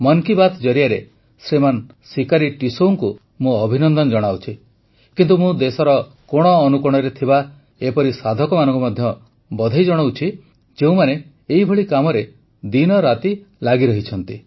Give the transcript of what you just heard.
ମନ୍ କୀ ବାତ୍ ଜରିଆରେ ଶ୍ରୀମାନ ସିକାରୀ ଟିସୌଙ୍କୁ ମୁଁ ଅଭିନନ୍ଦନ ଜଣାଉଛି କିନ୍ତୁ ମୁଁ ଦେଶର କୋଣଅନୁକୋଣରେ ଥିବା ଏପରି ସାଧକମାନଙ୍କୁ ମଧ୍ୟ ବଧେଇ ଜଣାଉଛି ଯେଉଁମାନେ ଏପରି କାମରେ ଦିନରାତି ଲାଗିରହିଛନ୍ତି